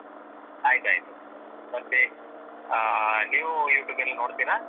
ಆಯ್ತಾಯ್ತು ಮತ್ತೇ ಆ ನೀವು YouTube ಎಲ್ಲ ನೋಡ್ತೀರಾ?